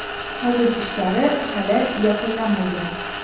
Qazish ishlari hali yakunlanmagan.